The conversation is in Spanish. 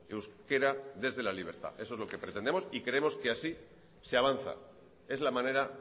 euskera desde la libertad eso es lo que pretendemos y creemos que así se avanza es la manera